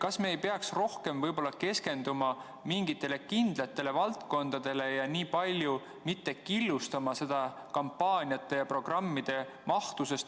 Kas me ei peaks rohkem keskenduma mingitele kindlatele valdkondadele ja nii palju mitte killustama seda kampaaniate ja programmide mahtu?